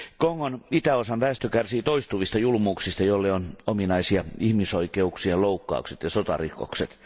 Kongon itäosan väestö kärsii toistuvista julmuuksista, joille on ominaista ihmisoikeuksien loukkaukset ja sotarikokset.